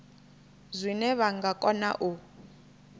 zwine vha nga kona u